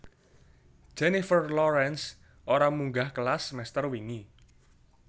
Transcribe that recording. Jennifer Lawrence ora munggah kelas semester wingi